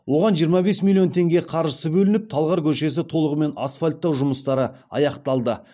оған жиырма бес миллион теңге қаржысы бөлініп талғар көшесі толығымен асфальттау жұмыстары аяқталды